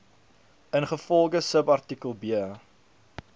ingevolge subartikel b